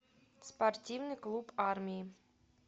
спортивный клуб армии